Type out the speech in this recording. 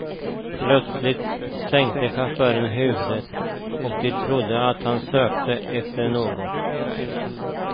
Plötsligt sänkte chauffören huvudet och de trodde att han sökte efter något.